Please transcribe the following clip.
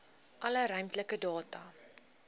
alle ruimtelike data